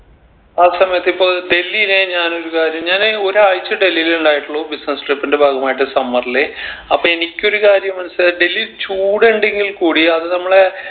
ആ സമയത്ത് ഇപ്പൊ ഡൽഹിലെ ഞാനൊരു കാര്യം ഞാന് ഒരാഴ്ച ഡൽഹിൽ ഇണ്ടായിട്ടുള്ളു business trip ന്റെ ഭാഗമായിട്ട് summer ല് അപ്പൊ എനിക്ക് ഒരു കാര്യം മനസ്സിലായത് ഡൽഹിൽ ചൂട് ഇണ്ടെങ്കിൽ കൂടി അത് നമ്മളെ